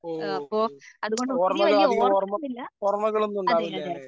ഓഹോ ഓർമ്മകൾ അധികം ഓർമ്മ ഓർമ്മകളൊന്നും ഉണ്ടാവില്ല ല്ലേ?